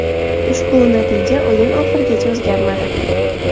Ushbu natija o‘yin oxirigacha o‘zgarmadi.